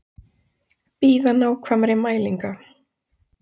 Bíða nákvæmari mælinga